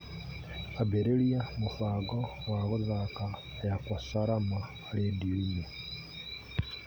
ambĩrĩria mũbango wa gũthaaka yakwa salama rĩndiũ-inĩ